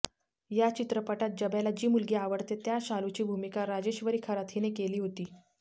या चित्रपटात जब्याला जी मुलगी आवडते त्या शालूची भूमिका राजेश्वरी खरात हिने केली होती